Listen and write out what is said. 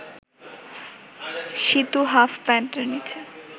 Situ half প্যান্টের নীচে